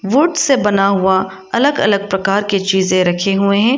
Would से बना हुआ अलग अलग प्रकार की चीजें रखी हुई हैं।